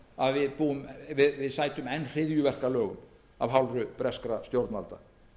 og kyngja því að við sætum enn hryðjuverkalögum af hálfu breskra stjórnvalda